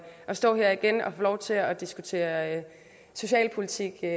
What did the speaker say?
stå her igen og få lov til at diskutere socialpolitik jeg